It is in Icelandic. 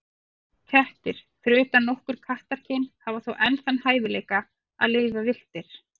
Kettir, fyrir utan nokkur kattakyn, hafa þó enn þann hæfileika að lifa villtir.